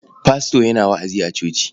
Fasto yana wa'azi a coci.